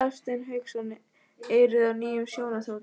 Hafsteinn Hauksson: Eruði á nýjum snjóþotum?